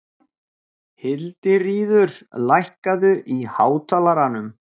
Hildiríður, lækkaðu í hátalaranum.